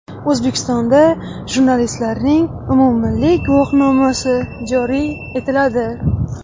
O‘zbekistonda jurnalistlarning umummilliy guvohnomasi joriy etiladi.